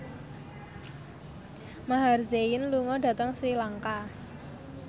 Maher Zein lunga dhateng Sri Lanka